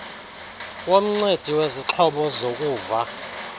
womncedi wezixhobo zokuva